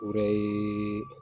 O yɛrɛ ye